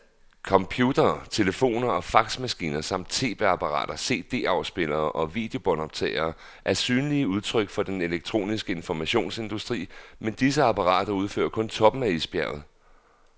Computere, telefoner og faxmaskiner samt tv-apparater, cd-spillere og videobåndoptagere er synlige udtryk for den elektroniske informationsindustri, men disse apparater udgør kun toppen af isbjerget.